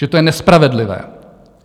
Že to je nespravedlivé.